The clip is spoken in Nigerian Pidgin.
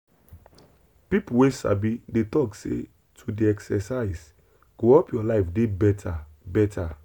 people wey sabi dey talk say to dey exercise go help your life dey better. better.